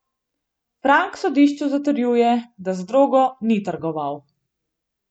Frank sodišču zatrjuje, da z drogo ni trgoval.